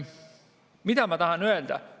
Mida ma tahan öelda?